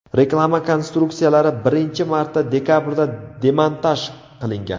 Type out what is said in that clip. Reklama konstruksiyalari birinchi marta dekabrda demontaj qilingan.